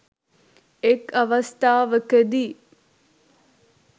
එක් අවස්ථාවකදී